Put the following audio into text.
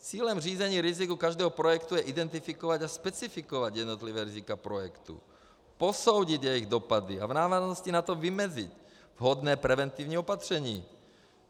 Cílem řízení rizika každého projektu je identifikovat a specifikovat jednotlivá rizika projektu, posoudit jejich dopady a v návaznosti na to vymezit vhodné preventivní opatření.